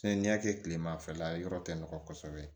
n'i y'a kɛ kilemafɛla ye yɔrɔ tɛ nɔgɔn kosɛbɛ